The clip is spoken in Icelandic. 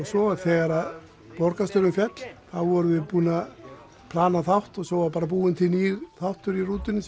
svo þegar borgarstjórinn féll þá vorum við búnir að plana þátt og svo var búinn til nýr þáttur í rútunni